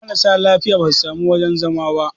marasa lafiya ba su sami wajen zama ba